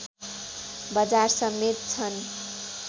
बजार समेत छन्